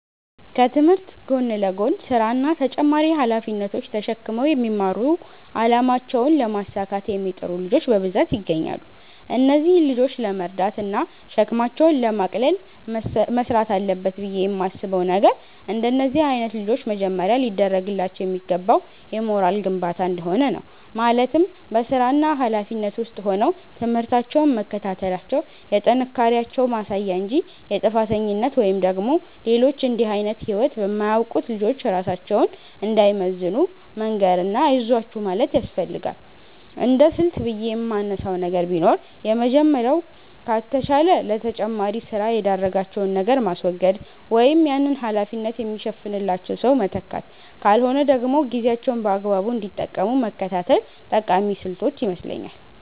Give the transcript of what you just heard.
ከትምህርት ጎን ለጎን ስራ እና ተጨማሪ ሃላፊነቶች ተሽክመው የሚማሩ አላማቸውን ለማሳካት የሚጥሩ ልጆች በብዛት ይገኛሉ። እነዚህን ልጆች ለመርዳት እና ሸክማቸውን ለማቅለል መስራት አለበት ብየ የማስበው ነገር፤ እንደነዚህ አይነት ልጆች መጀመሪያ ሊደርግላቸው የሚገባው የሞራል ግንባታ እንደሆነ ነው፤ ማለትም በስራና ሀላፊነት ውስጥ ሆነው ትምህርታቸውን መከታተላቸው የጥንካሬያቸው ማሳያ እንጂ የጥፋተኝነት ወይም ደግሞ ሌሎች እንድህ አይነት ህይወት በማያውቁት ልጆች ራሳቸውን እንዳይመዝኑ መንገር እና አይዟችሁ ማለት ያስፈልጋል። እንደስልት ብየ የማነሳው ነገር ቢኖር የመጀመሪያው ከተቻለ ለተጨማሪ ስራ የዳረጋቸውን ነገር ማስወገድ ወይም ያንን ሀላፊነት የሚሸፍንላቸው ሰው መተካት ካልሆነ ደግሞ ጊዜያቸውን በአግባቡ እንዲጠቀሙ መከታተል ጠቃሚ ስልቶች ይመስለኛል።